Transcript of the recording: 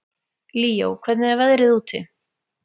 Líó, hvernig er veðrið úti?